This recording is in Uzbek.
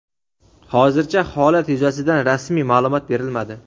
Hozircha holat yuzasidan rasmiy maʼlumot berilmadi.